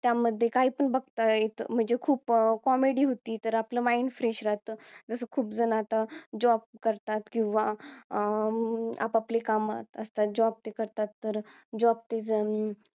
त्यामध्ये काय पण बघतायत म्हणजे खूप अं comedy होती तर आपलं mind fresh राहत job करतात किंवा अं आपआपली काम असतात तर job तर करतात तर job ते जण